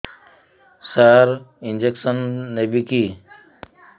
ସାର injection ନେବିକି